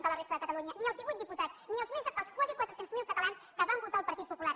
de la resta de catalunya ni els divuit diputats ni els quasi quatre cents miler catalans que van votar el partit popular